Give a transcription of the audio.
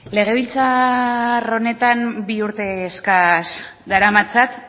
legebiltzar honetan bi urte eskas daramatzat